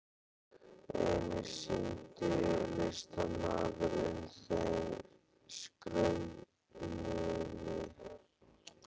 Einnig sýndi listamaðurinn þeim skrautmuni úr leirbrennslu sinni.